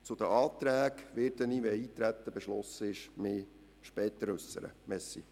Zu den Anträgen werde ich mich später äussern, falls das Eintreten beschlossen wird.